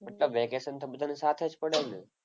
મતલબ વેકેશન તો બધાને સાથે જ પડે ને!